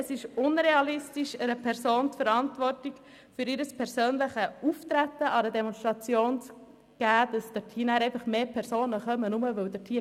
Es ist unrealistisch, einer Person die Verantwortung für ihr persönliches Auftreten an einer Demonstration zu geben und dafür, dass weitere Personen teilnehmen.